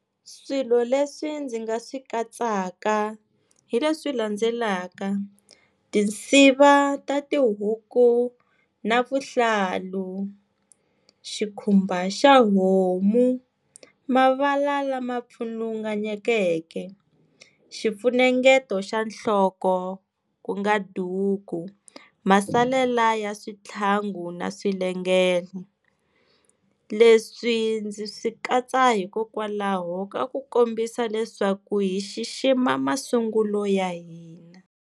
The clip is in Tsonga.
Swilo leswi ndzi nga swi katsaka hileswi landzelaka tinsiva ta tihuku na vuhlalu xikhumba xa homu mavala lama pfulunganyekeke xifunengeto xa nhloko ku nga duku masalela ya swithlangu na swilengelo leswi ndzi swi katsa hikokwalaho ka ku kombisa leswaku hi xixima masungulo ya hina.